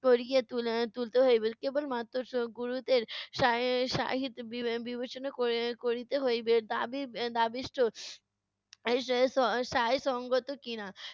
করিয়ে তুলে~ তুলতে হইবে। কেবলমাত্র স~ গুরুত্বের সা~ সাহিত বিবে~ বিবেচনা করি~ করিতে হইবে দাবী এর দাবীষ্ট সা~ স~ সায় সংগত কি-না।